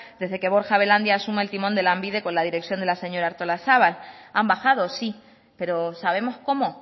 desde que borja belandia asuma el timón de lanbide con la dirección de la señora artolazabal han bajado sí pero sabemos cómo